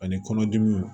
Ani kɔnɔdimiw